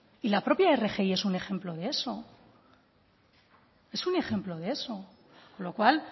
y la propia rgi es un ejemplo de eso con lo cual